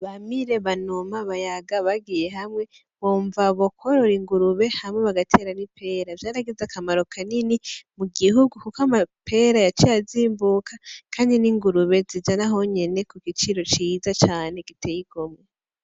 Bamire , Banuma , Bayaga , bagiye hamwe bumva bokorora ingurube hama bagatera nipera , vyaragize akamaro kanini mugihugu kuko amapera yaciye azimbuka Kandi n'ingurube zija nahonyene kugiciro ciza cane giteye igomwe .